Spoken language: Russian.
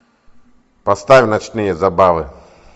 поставь ночные забавы